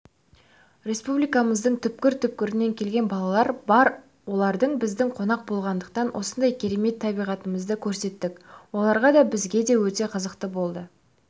республикамыздың түпкір-түпкірінен келген балалар бар олар біздің қонақ болғандықтан осындай керемет табиғатымызды көрсеттік оларға да бізге де өте қызықты болды